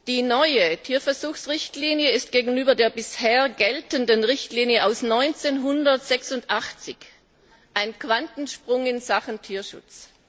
Die neue Tierversuchsrichtlinie ist gegenüber der bisher geltenden Richtlinie aus dem Jahr 1986 ein Quantensprung in Sachen Tierschutz.